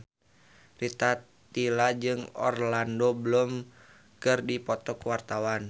Rita Tila jeung Orlando Bloom keur dipoto ku wartawan